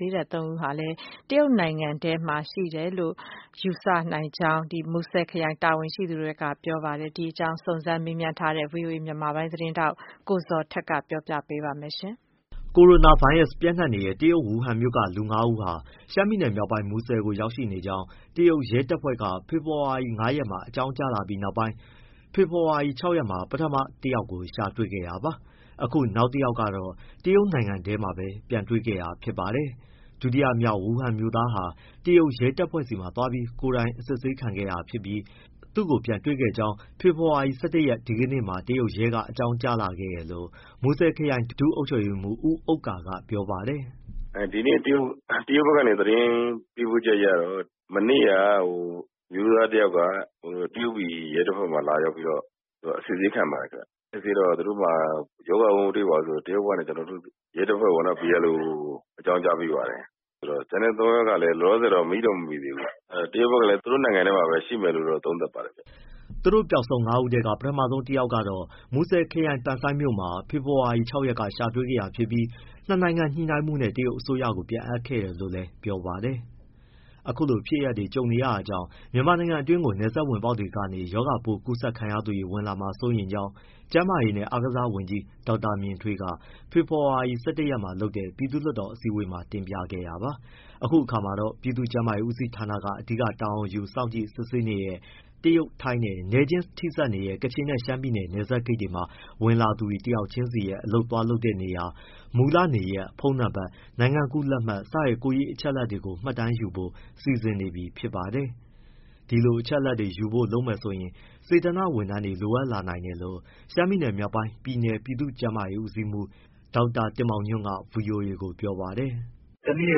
သေးတဲ့ သုံးဦးဟာလည်း တရုတ်နိုင်ငံထဲမှာပဲ ရှိနိုင်တယ်လို့ ယူဆကြောင်း မူဆယ်ခရိုင် တာဝန်ရှိသူတွေက ပြောပါတယ်။ ဒီအကြောင်း စုံးစမ်းမေးမြန်းထားတဲ့ ဗွီအိုအေ မြန်မာပိုင်းသတင်းထောက် ကိုဇော်ထက်က ပြောပြပေးပါမယ်။ ကိုရိုနာဗိုင်းရပ်စ်ပျံ့နှံ့နေတဲ့ တရုတ်ဝူဟန်မြို့က လူငါးဦးဟာ ရှမ်းပြည်မြောက်ပိုင်း မူဆယ်ကို ရောက်ရှိနေကြောင်း တရုတ်ရဲတပ်ဖွဲ့က ဖေဖော်ဝါရီ ၅ရက်မှာ အကြောင်းကြားလာပြီးနောက်ပိုင်း ဖေဖော်ဝါရီ ၆ရက်မှာ ပထမ တယောက်ကို တွေ့ရှိခဲ့တာ ဖြစ်ပြီး အခု နောက် တယောက် ကတော့ တရုတ်နိုင်ငံထဲမှာပဲ ပြန်တွေ့ခဲ့တာ ဖြစ်ပါတယ်။ ဒုတိယမြောက် ဝူဟန်မြို့သား ဟာ တရုတ်ရဲ တပ်ဖွဲ့ဆီသွားပြီး ကိုယ်တိုင်အစစ်ဆေး ခံခဲ့တာ ဖြစ်ပြီး သူ့ကို ပြန်တွေ့ ကြောင်း ဖေဖေါ်ဝါရီလ ၁၂ ရက်မှာ တရုတ်ရဲက အကြောင်းကြားခဲ့တယ်လို့ မူဆယ်ခရိုင် ဒုအုပ်ချုပ်ရေးမှူး ဦးဥက္ကာက ပြောပါတယ်။ “ ဒီနေ့ တရုတ်ဘက်ကနေ သတင်းပေးပို့ချက်အရတော့ မနေ့က အမျိုးသားတယောက်က တရုတ်ပြည် ရဲတပ်ဖွဲ့မှာ လာရောက်ပြီးတော့ အစစ်အဆေးခံပါတယ်ခင်ဗျ။ စစ်ဆေးတော့ သူတို့မှာ ရောဂါပိုး မတွေ့ပါဘူးဆိုပြီး တရုတ်က ကျနော်တို့ ရဲတပ်ဖွဲ့ ကို အကြောင်းကြားပေးပါတယ်။ ဆိုတော့ ကျန်တဲ့သုံးယောက်ကလည်း မိတော့ မမိသေးဘူး၊ တရုတ်ဘက်ကလည်း သူတို့နိုင်ငံထဲမှာပဲ ရှိမယ်လို့ သုံးသပ်ပါတယ်။” သူတို့ပျောက်ဆုံး ငါးဦးထဲက ပထမဆုံးတယောက်က တော့ မူဆယ်ခရိုင်၊ ပန်ဆိုင်းမြို့မှာ ဖေဖော်ဝါရီ ၆ရက်က ရှာတွေ့ခဲ့တာ ဖြစ်ပြီး ၂နိုင်ငံညှိနှိုင်းမှုနဲ့ တရုတ်အစိုးရကို ပြန်အပ်ခဲ့တာ လို့လည်း ပြောပါတယ်။ အခုလို ဖြစ်ရပ်တွေေ ကြုံနေရတာ ကြောင့် မြန်မာနိုင်ငံ တွင်းကို နယ်စပ်ဝင်ပေါက်တွေကနေ ရောဂါပိုးကူးစက်ခံရသူတွေ ဝင်ရောက်လာမှာ စိုးရိမ်ကြောင်း ကျန်းမာရေးနှင့် အားကစားဝန်ကြီး ဒေါက်တာမြင့်ထွေးက ဖေဖော်ဝါရီ ၁၁ရက်မှာ လုပ်တဲ့ ပြည်သူ့လွှတ်တော်အစည်းအဝေးမှာ တင်ပြခဲ့တာပါ။ အခု အခါမှာတော့ ပြည်သူ့ကျန်းမာရေးဦးစီးဌာနက အဓိက တာဝန်ယူ၊ စောင့်ကြည့်၊ စစ်ဆေးနေတဲ့ တရုတ်၊ ထိုင်းနဲ့ နယ်ချင်းထိစပ်နေတဲ့ ကချင်နဲ့ ရှမ်းပြည်နယ် နယ်စပ်ဂိတ် တွေမှာ ဝင်လာသူ တယောက်ချင်းစီရဲ့ အလုပ်သွားလုပ်တဲ့နေရာ၊ မူလနေရပ်၊ ဖုန်းနံပတ်၊ နိုင်ငံကူးလက်မှတ် စတဲ့ ကိုယ်ရေး အချက်အလက်တွေကို မှတ်တမ်းယူဖို့ စီစဉ်နေ ပြီ ဖြစ်ပါတယ်။ ဒီလိုအချက်အလက်တွေယူဖို့ လုပ်မယ် ဆိုရင်တော့ စေတနာ့ဝန်ထမ်းတွေ လိုအပ်လာနိုင် တယ်လို့ ရှမ်းပြည်နယ်မြောက်ပိုင်း ပြည်နယ် ပြည်သူ့ကျန်းမာရေး ဦးစီးမှူး ဒေါက်တာတင်မောင်ညွှန့်က VOA ကို ပြောပါတယ်။ “ တနေ့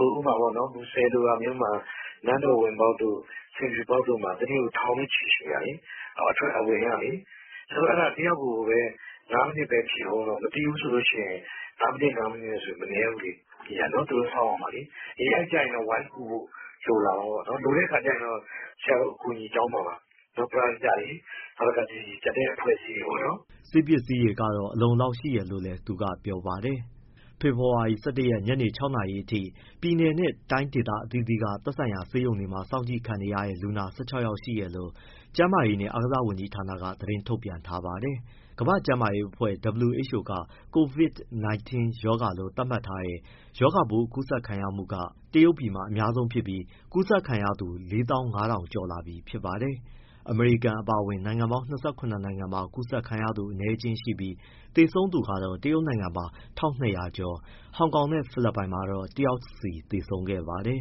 ကို မူဆယ်လိုမျိုးမှာ နန်းတော်ဝင်ပေါက်တို့၊ ဆင်ဖြူပေါက်တို့မှာ တနေ့ကို ထောင်နဲ့ချီရှိတာလေ အဝင်ကလေ။ ဆရာတို့ တယောက်ကိုပဲ ငါးမိနစ်ပဲ ဖြည့်ဦးတော့ ငါးမိနစ်၊ ငါးမိနစ်ဆို မနည်းဘူးလေ သူတို့စောင့်ရမှာလေ။ အဲကျရင် ဝိုင်းကူဖို့ လိုလာမှာပေါ့နော်။ လိုတဲ့အခါကျ ဆရာတို့ အကူအညီတောင်းမှာပါ ပရဟိတတွေ၊ နောက် ကျန်တဲ့အဖွဲ့အစည်းတွေကို။” ဆေးပစ္စည်းတွေကတော့ အလုံအလောက်ရှိတယ်လို့လည်း သူကပြောပါတယ်။ ဖေဖော်ဝါရီ ၁၁ရက် ညနေ ၆နာရီအထိ ပြည်နယ်နဲ့ တိုင်းဒေသအသီးသီးက သက်ဆိုင်ရာ ဆေးရုံတွေမှာစောင့်ကြည့် ခံနေရတဲ့ လူနာ ၁၆ ယောက်ရှိတယ်လို့ ကျန်းမာရေးနှင့် အားကစားဝန်ကြီးဌာနက သတင်းထုတ်ပြန်ထားပါတယ်။ WHO က Covid 19 ရောဂါလို့ သတ်မှတ်ထားတဲ့ ရောဂါပိုး အကူးစက်ခံရမှုက တရုတ်ပြည်မှာ အများဆုံး ဖြစ်ပြီး အကူးစက်ခံရသူ ၄၅၀၀၀ ကျော်လာပြီဖြစ်ပါတယ်။ အမေရိကန်အပါအဝင် နိုင်ငံပေါင်း ၂၇ နိုင်ငံမှာ ကူးစက်ခံရသူ အနည်းအကျဉ်းရှိပြီး သေဆုံးသူကတော့ တရုတ်မှာ ၁၂၀၀ ကျော်၊ ဟောင်ကောင်နဲ့ ဖိလစ်ပိုင်မှာတော့ တယောက်စီ သေဆုံးခဲ့ပါတယ်